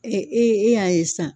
e y'a ye sisan.